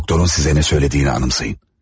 Doktorun sizə nə söylədiyini anımsayın.